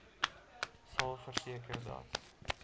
sal verseker dat